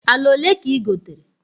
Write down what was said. Ala olee ka igotere?